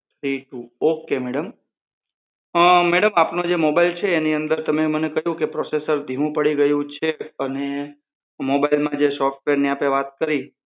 Three two. Ok madam um madam આપનો જે mobile છે એની અંદર તમે મને કહ્યું કે processor ધીમું પડી ગયું છે અને mobile માં જે સોફ્ટવેરની આપણે વાત કરીએ.